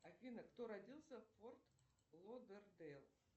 алиса кто родился в форт лодердейл